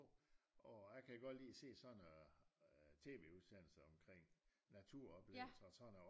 Og jeg kan godt lide at se sådan noget TV-udsendelse omkring naturoplevelser og sådan noget